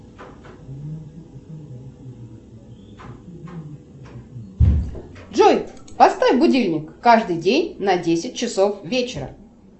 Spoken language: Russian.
джой поставь будильник каждый день на десять часов вечера